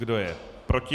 Kdo je proti?